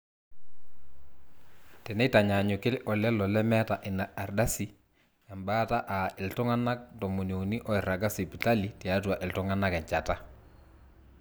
teneitanyanyuki olelo lemeeta ina ardasi embaata aa iltung'anak tomoniuni oiraga sipitali tiatua iltung'anak enjata